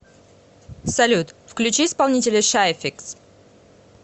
салют включи исполнителя шай фикс